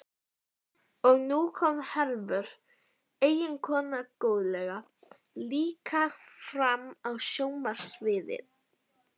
Og nú kom Hervör, eiginkonan góðlega, líka fram á sjónarsviðið.